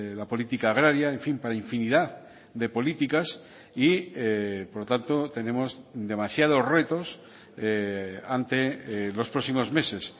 la política agraria en fin para infinidad de políticas y por lo tanto tenemos demasiados retos ante los próximos meses